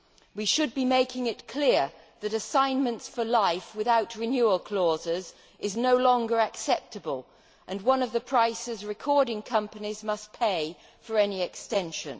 We should be making it clear that assignment for life without renewal clauses is no longer acceptable, and one of the prices recording companies must pay for any extension.